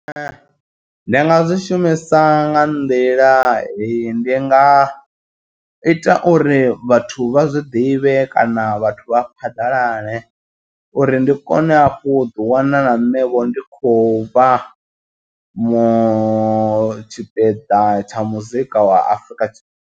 Ee, ndi nga zwi shumisa nga nḓila hei ndi nga ita uri vhathu vha zwiḓivhe kana vhathu vha phaḓalale uri ndi kone hafhu u ḓi wana na nṋe vho ndi khou vha mu tshipiḓa tsha muzika wa Afrika tshi.